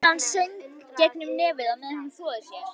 Konan söng gegnum nefið á meðan hún þvoði sér.